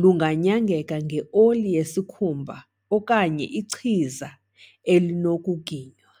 lunganyangeka nge-oli yesikhumba okanye ichiza elinokuginywa.